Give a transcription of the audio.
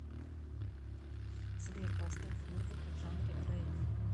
сбер поставь музыку в жанре регги